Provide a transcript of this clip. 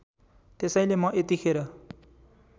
त्यसैले म यतिखेर